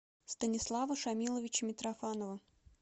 станислава шамиловича митрофанова